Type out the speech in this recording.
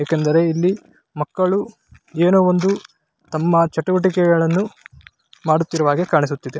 ಏಕೆಂದರೆ ಇಲ್ಲಿ ಮಕ್ಕಳು ಏನೋ ಒಂದು ತಮ್ಮ ಚಟುವಟಿಕೆಗಳನ್ನು ಮಾಡುತ್ತಿರುವ ಹಾಗೆ ಕಾಣಿಸುತ್ತಿದೆ .